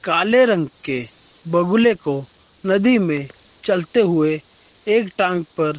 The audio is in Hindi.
काले रंग के बगुले को नदी में चलते हुए एक टांग पर--